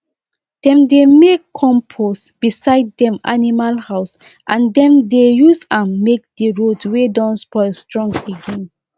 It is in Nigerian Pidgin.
i carry fresh i carry fresh sweet potatoes give our school cook make dem turn am to pikin dem lunch magic.